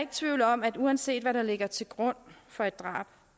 tvivl om at uanset hvad der ligger til grund for et drab